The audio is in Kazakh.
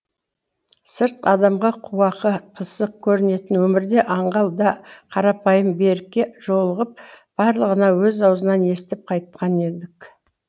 сырт адамға қуақы пысық көрінетін өмірде аңғал да қарапайым берікке жолығып барлығын өз аузынан естіп қайтқан едік